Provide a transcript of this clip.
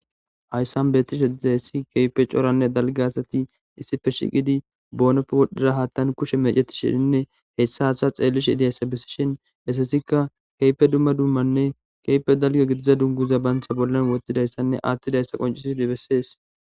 Haysan betishe dizaysa kehipe coranne dalga asati issippe shiiqi bonbappe wodhiza hatan kushe mecetishenne haysa hatha xelishe dizaysa besishen hesatikka kehipe dumma dumma dummanne Kehipe dalga gidiza duguza banta bolla wothidaysanne atidaysa qoncisidi besese